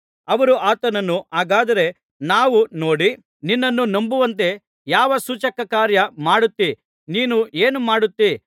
ಅವರು ಆತನನ್ನು ಹಾಗಾದರೆ ನಾವು ನೋಡಿ ನಿನ್ನನ್ನು ನಂಬುವಂತೆ ಯಾವ ಸೂಚಕಕಾರ್ಯ ಮಾಡುತ್ತೀ ನೀನು ಏನುಮಾಡುತ್ತಿ